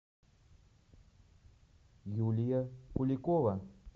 юлия куликова